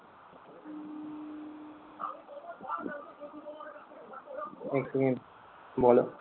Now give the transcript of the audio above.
এক second বলো